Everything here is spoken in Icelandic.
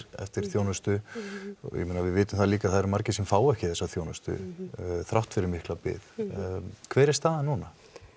eftir þjónustu og ég meina við vitum líka að það eru margir sem fá ekki þessa þjónustu þrátt fyrir mikla bið hver er staðan núna